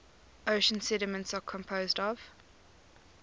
ocean sediments are composed of